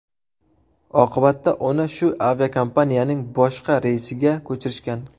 Oqibatda uni shu aviakompaniyaning boshqa reysiga ko‘chirishgan.